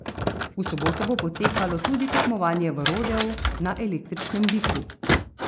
V soboto bo potekalo tudi tekmovanje v rodeu na električnem biku.